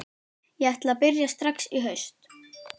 Ég ætla að byrja strax í haust.